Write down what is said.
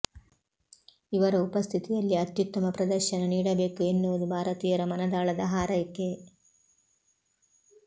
ಇವರ ಉಪಸ್ಥಿತಿಯಲ್ಲಿ ಅತ್ಯುತ್ತಮ ಪ್ರದರ್ಶನ ನೀಡಬೇಕು ಎನ್ನುವುದು ಭಾರತೀಯರ ಮನದಾಳದ ಹಾರೈಕೆ